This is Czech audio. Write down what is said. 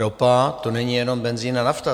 Ropa, to není jenom benzin a nafta.